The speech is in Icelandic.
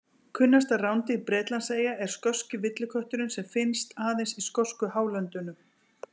Kunnasta rándýr Bretlandseyja er skoski villikötturinn sem finnst aðeins í skosku hálöndunum.